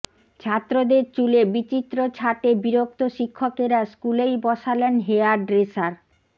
ছাত্রদের চুলে বিচিত্র ছাটে বিরক্ত শিক্ষকেরা স্কুলেই বসালেন হেয়ার ড্রেসার